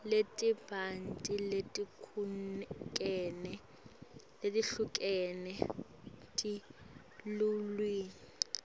letibanti letehlukene telulwimi